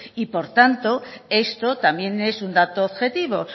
y por tanto esto también es un dato objetivo